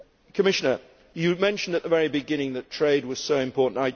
Commissioner, you mentioned at the very beginning that trade was so important